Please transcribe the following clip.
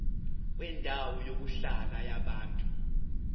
kwendawo yokuhlala yabantu